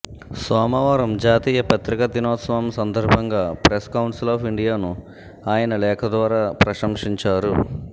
సోమవారం జాతీయ పత్రికా దినోత్సవం సందర్భంగా ప్రెస్ కౌన్సిల్ ఆఫ్ ఇండియాను ఆయన లేఖ ద్వారా ప్రశంసించారు